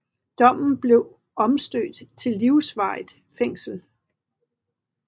Dommen blev omstødt til livsvarigt fængsel